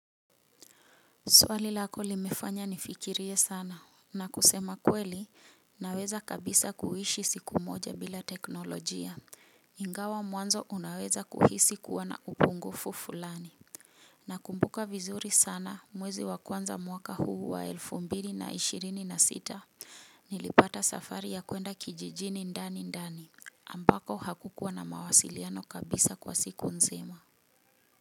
Swali lako limefanya nifikirie sana na kusema kweli naweza kabisa kuishi siku moja bila teknolojia. Ingawa mwanzo unaweza kuhisi kuwa na upungufu fulani. Nakumbuka vizuri sana mwezi wa kwanza mwaka huu wa elfu mbili na ishirini na sita nilipata safari ya kuenda kijijini ndani ndani ambako hakukuwa na mawasiliano kabisa kwa siku nzima.